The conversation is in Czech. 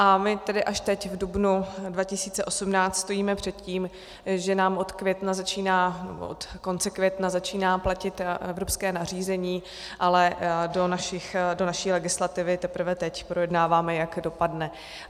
A my tedy až teď v dubnu 2018 stojíme před tím, že nám od května, nebo od konce května, začíná platit evropské nařízení, ale do naší legislativy teprve teď projednáváme, jak dopadne.